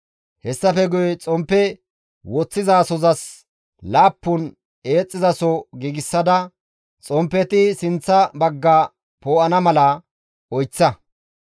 «Hessafe guye Xomppe woththizasozas laappun eexxizaso giigsada xomppeti sinththa bagga poo7ana mala oyththa.